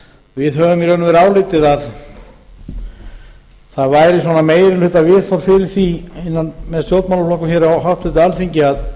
við höfum í raun og veru álitið að það væri svona meginhlutaviðhorf fyrir því með stjórnmálaflokkum hér á háttvirtu alþingi að